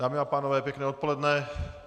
Dámy a pánové, pěkné odpoledne.